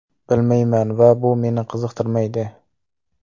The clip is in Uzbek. Bilmayman va bu meni qiziqtirmaydi.